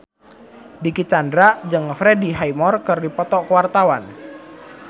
Dicky Chandra jeung Freddie Highmore keur dipoto ku wartawan